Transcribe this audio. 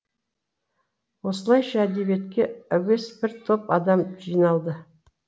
осылайша әдебиетке әуес бір топ адам жиналды